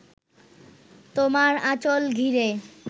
তোমার আঁচল ঘিরে